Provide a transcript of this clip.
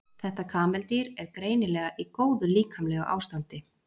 Þetta kameldýr er greinilega í góðu líkamlegu ástandi.